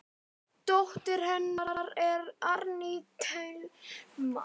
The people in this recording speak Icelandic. Dóttir hennar er Árný Thelma.